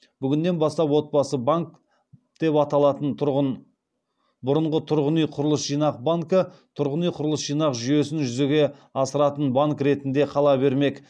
бүгіннен бастап отбасы банк деп аталатын тұрғын бұрынғы тұрғын үй құрылыс жинақ банкі тұрғын үй құрылыс жинақ жүйесін жүзеге асыратын банк ретінде қала бермек